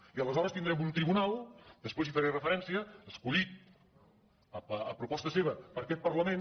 i aleshores tindrem un tribunal després hi faré referència escollit a proposta seva per aquest parlament